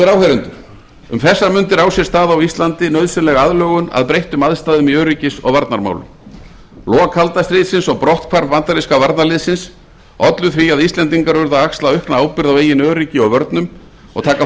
áheyrendur um þessar mundir á sér stað á íslandi nauðsynleg aðlögun að breyttum aðstæðum í öryggis og varnarmálum lok kalda stríðsins og brotthvarf bandaríska varnarliðsins ollu því að íslendingar urðu að axla aukna ábyrgð á eigin öryggi og vörnum og taka